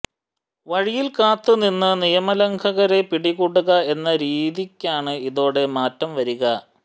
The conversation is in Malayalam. വഴിയിൽ കാത്ത് നിന്ന് നിയമലംഘകരെ പിടികൂടുക എന്ന രീതിയ്ക്കാണ് ഇതോടെ മാറ്റം വരിക